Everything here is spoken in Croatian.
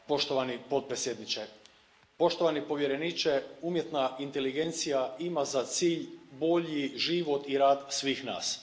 Poštovani predsjedavajući, poštovani povjereniče umjetna inteligencija ima za cilj bolji život i rad svih nas.